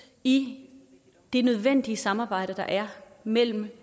i det nødvendige samarbejde der er mellem